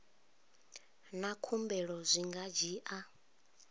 na khumbelo zwi nga dzhia